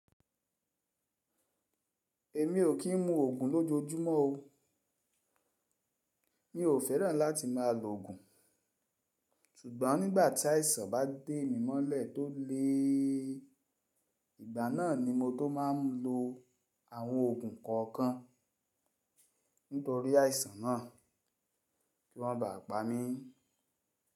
Èmi ò kí n mu ògùn lójoójúmọ́ o. Mi ò féràn láti má a logun Ṣùgbọ́n nígbà tí àìsàn bá dé mi mọ́lẹ̀ tó le, ìgbà náà ni mo tó má n lo àwọn ògùn kọ̀ọ̀kan nítorí àìsàn náà kí wọ́n má ba à pa mí.